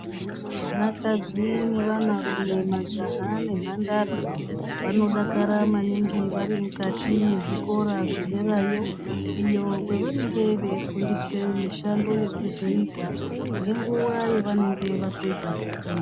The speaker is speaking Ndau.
Vanakadzi nevana rume, majaha nemhandara vanodakara maningi varimuzikora zvederayo iyo kwavanenge veifundiswa mishando yekuzoita ngenguwa yavanenge vapedza kufunda.